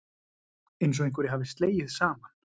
Einsog einhverju hafi slegið saman.